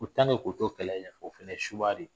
Ko k' to kɛlɛ in na o fonɛ ye subaga de ye